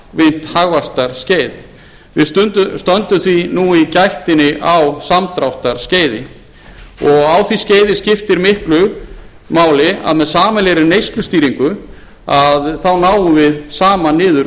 langvinnt hagvaxtarskeið við stöndum því nú í gættinni á samdráttarskeiði og á því skeiði skiptir miklu máli aðeemð sameiginlegri neyslustýringu náum við saman niður